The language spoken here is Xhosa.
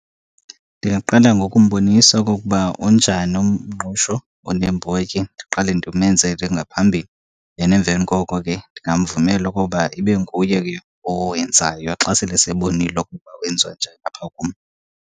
Ndingaqala ngokumbonisa okokuba unjani umngqusho oneembotyi, ndiqale ndimenzele ngaphambili. Then emveni koko ke ndingamvumela okoba ibe nguye ke owenzayo xa sele sebonile ukuba wenziwa njani apha kum.